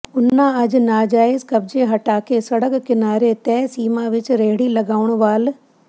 ਉਨ੍ਹਾਂ ਅੱਜ ਨਾਜਾਇਜ ਕਬਜੇ ਹਟਾ ਕੇ ਸੜਕ ਕਿਨਾਰੇ ਤੈਅ ਸੀਮਾ ਵਿਚ ਰੇਹੜੀ ਲਗਾਉਣ ਵਾਲ